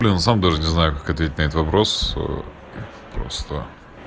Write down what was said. сам даже не знаю как ответить на этот вопрос просто